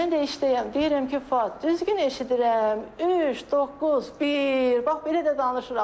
Mən də işdəyəm, deyirəm ki, Fuad, düzgün eşidirəm, üç, doqquz, bir, bax belə də danışıram.